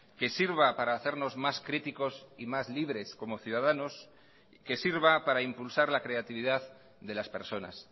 que sirva para hacernos más críticos y más libres como ciudadanos que sirva para impulsar la creatividad de las personas